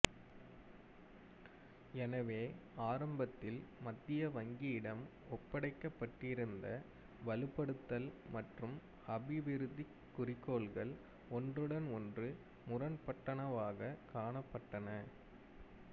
எனவே ஆரம்பத்தில் மத்திய வங்கியிடம் ஒப்படைக்கப்பட்டிருந்த வலுப்படுத்தல் மற்றும் அபிவிருத்திக் குறிக்கோள்கள் ஒன்றுடன் ஒன்று முரண்பட்டனவாகக் காணப்பட்டன